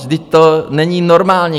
Vždyť to není normální.